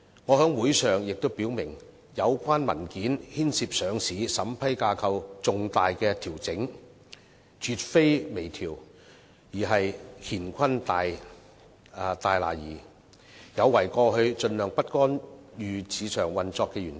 我在會上表明有關文件牽涉上市審批架構的重大調整，絕非微調，而是乾坤大挪移，有違過去盡量不干預市場運作的原則。